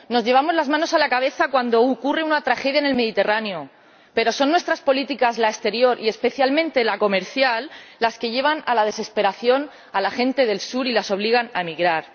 Nos llevamos las manos a la cabeza cuando ocurre una tragedia en el Mediterráneo, pero son nuestras políticas, la exterior y especialmente la comercial, las que llevan a la desesperación a la gente del sur y las obligan a emigrar.